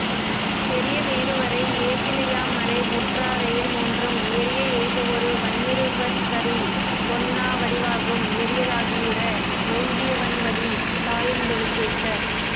பெரியமேருவரை யேசிலையாமலை வுற்றா ரெயில்மூன்றும் எரியஎய்தவொரு வன்னிருவர்க்கறி வொண்ணா வடிவாகும் எரியதாகியுற வோங்கியவன்வலி தாயந் தொழுதேத்த